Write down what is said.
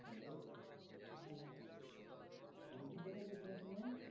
কোনো cinema